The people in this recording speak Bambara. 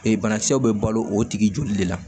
Ee banakisɛw bɛ balo o tigi joli de la